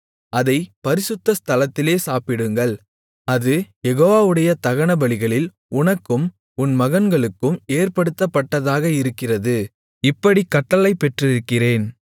அதைப் பரிசுத்த ஸ்தலத்திலே சாப்பிடுங்கள் அது யெகோவாவுடைய தகனபலிகளில் உனக்கும் உன் மகன்களுக்கும் ஏற்படுத்தப்பட்டதாக இருக்கிறது இப்படிக் கட்டளை பெற்றிருக்கிறேன்